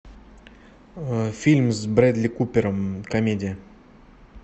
фильм с брэдли купером комедия